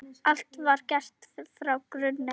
Allt var gert frá grunni.